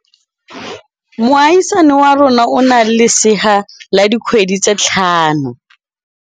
Moagisane wa rona o na le lesea la dikgwedi tse tlhano.